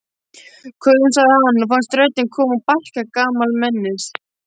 Köfum sagði hann og fannst röddin koma úr barka gamalmennis.